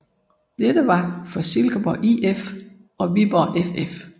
Dette var for Silkeborg IF og Viborg FF